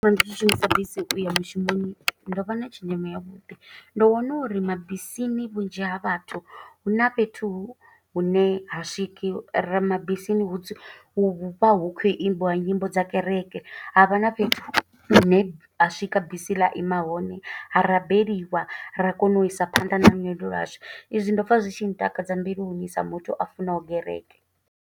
Ndi tshi shumisa bisi u ya mushumoni, ndo vha na tshenzhemo ya vhuḓi. Ndo wana uri mabisini vhunzhi ha vhathu, huna fhethu hune ha swiki, ra mabisini hu vha hu khou imbiwa nyimbo dza kereke. Havha na fhethu hune ha swika bisi ḽa ima hone, ha rabeliwa. Ra kona u isa phanḓa na lwendo lwashu, i zwi ndo pfa zwi tshi ntakadza mbiluni sa muthu a funaho gereke.